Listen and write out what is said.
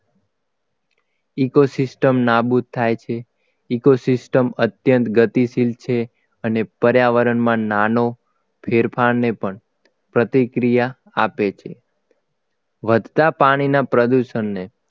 Eco system નાબૂદ થાય છે eco system અત્યંત ગતિશીલ છે અને પર્યાવરણમાં નાનો ફેરફારને પણ પ્રતિક્રિયા આપે છે વધતા પાણીના પ્રદૂષણને